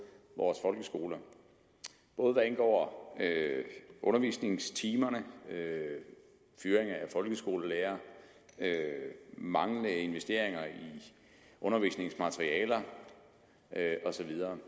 vores folkeskoler både hvad angår undervisningstimer fyring af folkeskolelærere manglende investeringer i undervisningsmaterialer og så videre